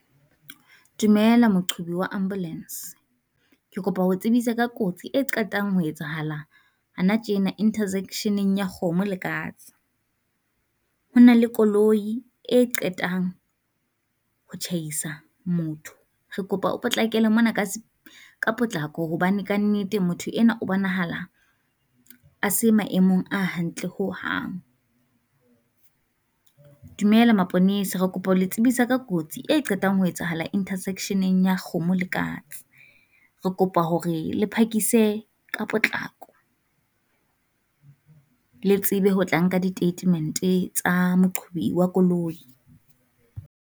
Dumela moqhubi wa ambulance, ke kopa ho o tsebisa ka kotsi e qetang ho etsahalang ana tjena interzection-eng ya kgomo le katse. Ho na le koloi e qetang ho tjhaisa motho, re kopa o potlakele mona ka ka potlako hobane kannete motho enwa o bonahala a se maemong a hantle ho hang. Dumela maponesa re kopa ho le tsebisa ka kotsi e qetang ho etsahala intersection-eng ya kgomo le katse, re kopa hore le phakise ka potlako le tsebe ho tla nka di teitemente tsa moqhubi wa koloi.